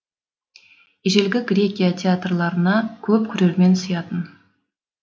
ежелгі грекия театрларына көп көрермен сыятын